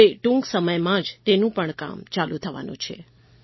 હવે ટૂંક સમયમાં જ તેનું પણ કામ ચાલુ થવાનું છે